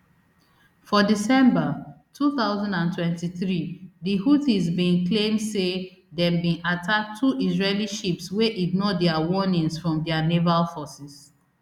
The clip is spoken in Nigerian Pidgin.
for december two thousand and twenty-three di houthis bin claim say dem bin attack two israeli ships wey ignore dia warnings from dia naval forces